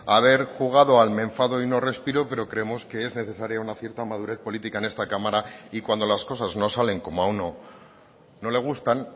haber jugado al me enfado y no respiro pero creemos que es necesaria una cierta madurez política en esta cámara y cuando las cosas no salen como a uno no le gustan